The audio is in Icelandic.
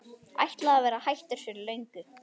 Ætlaði að vera hættur fyrir löngu.